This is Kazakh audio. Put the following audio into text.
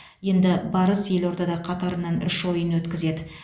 енді барыс елордада қатарынан үш ойын өткізеді